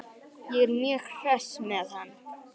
Ég er mjög hress með hann.